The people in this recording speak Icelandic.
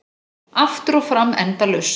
Aftur og fram endalaust.